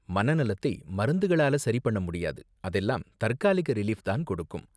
மனநலத்தை மருந்துகளால சரி பண்ண முடியாது, அதெல்லாம் தற்காலிக ரிலீஃப் தான் கொடுக்கும்.